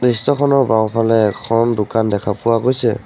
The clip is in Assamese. দৃশ্যখনৰ বাওঁফালে এখন দোকান দেখা পোৱা গৈছে।